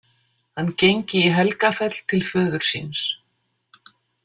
Hann gengi í Helgafell til föður síns.